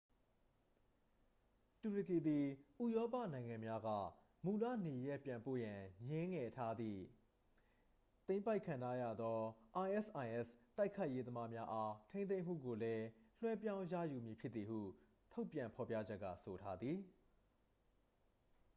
တူရကီသည် ဥရောပနိုင်ငံများက မူလနေရပ်ပြန်ပို့ရန် ငြင်းငယ်ထားသည့် သိမ်းပိုက်ခံထားရသော isis တိုက်ခိုက်ရေးသမားများအား ထိန်းသိမ်းမှုကိုလည်း လွှဲပြောင်းရယူမည်ဖြစ်သည်ဟု ထုတ်ပြန်ဖော်ပြချက်က ဆိုထားသည်